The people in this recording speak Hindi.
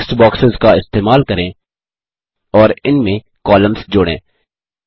टेक्स्ट बॉक्सेस का इस्तेमाल करें और इनमें कॉलम्स जोड़ें